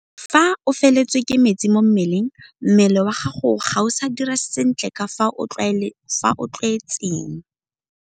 Fa o feletswe ke metsi mo mmeleng, mmele wa gago ga o sa dira sentle ka fao o o tlwaetseng.